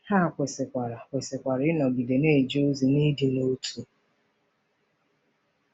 Ha kwesịkwara kwesịkwara ịnọgide na-eje ozi n’ịdị n’otu.